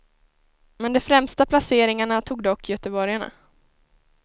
Men de främsta placeringarna tog dock göteborgarna.